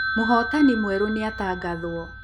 Mũhotani mwerũ nĩatangathwo